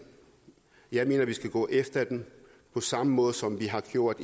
jeg mener vi skal gå efter dem på samme måde som vi har gjort